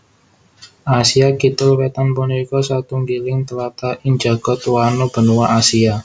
Asia Kidul Wétan punika satunggiling tlatah ing jagad wano benua Asia